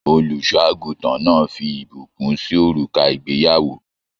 Olùṣọ àgùntàn náà fí ìbùkún sì òrùka ìgbéyàwó.